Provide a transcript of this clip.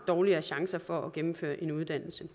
dårligere chancer for at gennemføre en uddannelse